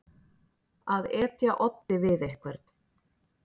Að etja oddi við einhvern